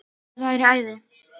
Það væri æði